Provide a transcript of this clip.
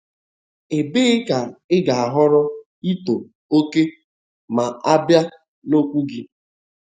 Ebee ka ị ga-ahọrọ ịtọ oke ma a bịa n'okwu gị?